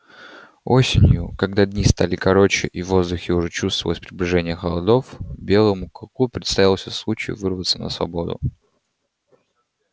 осенью когда дни стали короче и в воздухе уже чувствовалось приближение холодов белому клыку представился случай вырваться на свободу